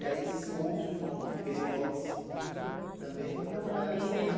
E aí, esse seu outro irmão que veio logo em seguida, também foi para trabalhar nesse mesmo... Também veio para